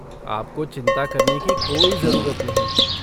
आपको चिंता करने की कोई जरूरत नहीं।